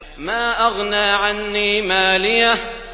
مَا أَغْنَىٰ عَنِّي مَالِيَهْ ۜ